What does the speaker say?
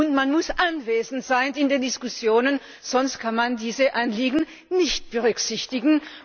Und man muss anwesend sein bei den Diskussionen, sonst kann man diese Anliegen nicht berücksichtigen.